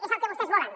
és el que vostès volen